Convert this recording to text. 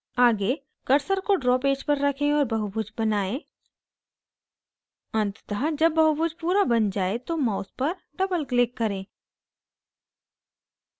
आगे cursor को draw page पर रखें और बहुभुज बनाएं अंततः जब बहुभुज पूरा बन जाये तो mouse पर doubleclick करें